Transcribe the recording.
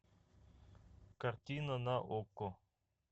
картина на окко